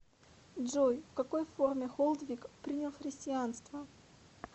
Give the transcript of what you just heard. джой в какой форме холдвиг принял христианство